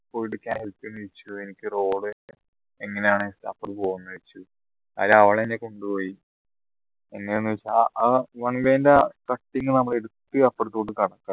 കടക്കാൻ help ചെയ്യോ ചോയ്ച് എനിക്ക് road എങ്ങനെയാണ് അപ്പുറം പോന്നേ ചോദിച്ചു അയിൽ അവളെന്നെ കൊണ്ടോയി പിന്നെന്നുവച്ചാ ആ one way ന്റെ അഹ് cutting എട്ത് നമ്മൾ അപ്പാർത്തോട്ട